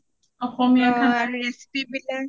অসমীয়া খানাৰ